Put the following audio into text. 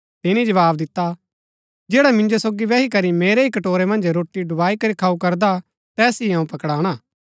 तिनी जवाव दिता जैड़ा मिन्जो सोगी बैही करी मेरै ही कटोरै मन्ज रोटी डुबाई करी खाऊ करदा हा तैस ही अऊँ पकड़ाणा